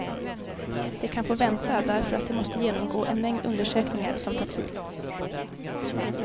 De kan få vänta därför att de måste genomgå en mängd undersökningar som tar tid.